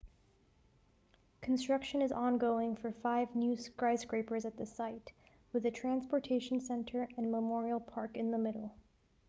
construction is ongoing for five new skyscrapers at the site with a transportation center and memorial park in the middle